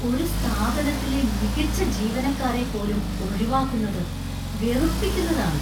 ഒരു സ്ഥാപനത്തിലെ മികച്ച ജീവനക്കാരെ പോലും ഒഴിവാക്കുന്നത് വെറുപ്പിക്കുന്നതാണ്.